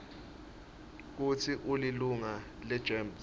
kutsi ulilunga legems